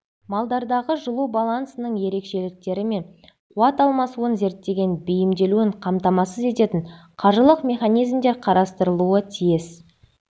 малдардағы жылу балансының ерекшеліктері мен қуат алмасуын зерттеген бейімделуін қамтамасыз ететін қаржылық механизмдер қарастырылуы тиіс